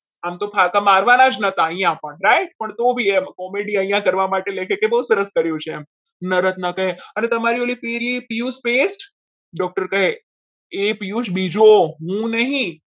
આમ તો ફાકા મારવાના જ હતા અહીંયા પણ right તો બી પણ comedy કરવા માટે અહીંયા લેખક કે બહુ સરસ કરી છે અને ઓલી તમારી પીયુષ pest doctor કહે એ પીયુષ બીજો હું નહીં.